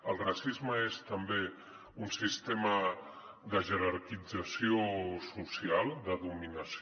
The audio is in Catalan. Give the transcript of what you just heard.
el racisme és també un sistema de jerarquització social de dominació